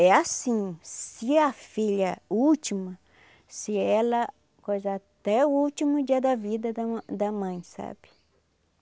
É assim, se a filha última, se ela, coisar até o último dia da vida da ma da mãe, sabe?